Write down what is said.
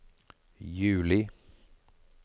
juli